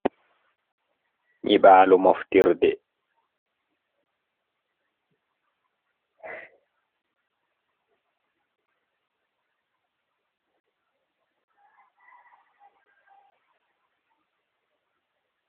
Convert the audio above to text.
nyiɓaalo moftirde.